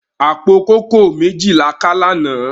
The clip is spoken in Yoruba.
Apó kókòó méji lá ká làná